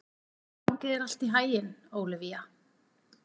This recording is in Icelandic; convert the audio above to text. Gangi þér allt í haginn, Ólivía.